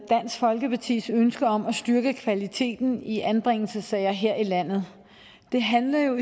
folkepartis ønske om at styrke kvaliteten i anbringelsessager her i landet det handler jo